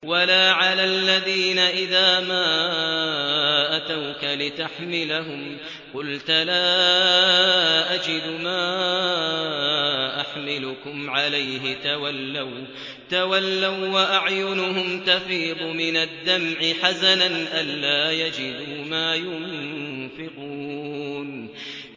وَلَا عَلَى الَّذِينَ إِذَا مَا أَتَوْكَ لِتَحْمِلَهُمْ قُلْتَ لَا أَجِدُ مَا أَحْمِلُكُمْ عَلَيْهِ تَوَلَّوا وَّأَعْيُنُهُمْ تَفِيضُ مِنَ الدَّمْعِ حَزَنًا أَلَّا يَجِدُوا مَا يُنفِقُونَ